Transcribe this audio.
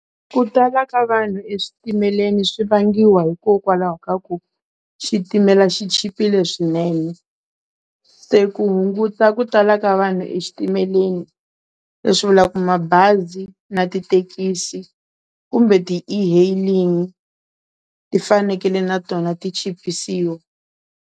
Ku tala ka vanhu eswitimeleni swi vangiwa hikokwalaho ka ku xitimela xi chipile swinene se ku hunguta ku tala ka vanhu exitimeleni leswi vulaku mabazi na tithekisi kumbe ti e-hailing ti fanekele na tona ti chipisiwa.